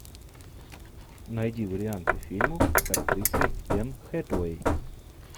найди варианты фильмов с актрисой энн хэтэуэй